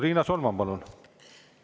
Riina Solman, palun!